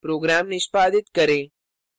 program निष्पादित करें